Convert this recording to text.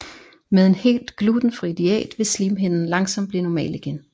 Med en helt glutenfri diæt vil slimhinden langsomt blive normal igen